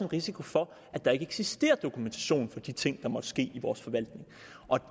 risiko for at der ikke eksisterer dokumentation for de ting der måtte ske i vores forvaltning og